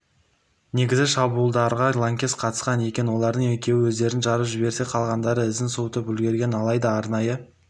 негізі шабуылдарға лаңкес қатысқан екен олардың екеуі өздерін жарып жіберсе қалғандары ізін суытып үлгерген алайда арнайы